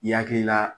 I hakili la